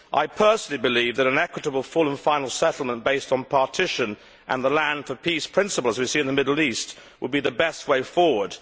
I personally believe that an equitable full and final settlement based on partition and the land for peace' principles we see in the Middle East would be the best way forward.